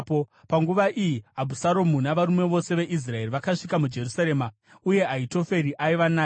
Panguva iyi, Abhusaromu navarume vose veIsraeri vakasvika muJerusarema, uye Ahitoferi aiva naye.